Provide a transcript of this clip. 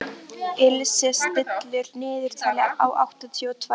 Ilse, stilltu niðurteljara á áttatíu og tvær mínútur.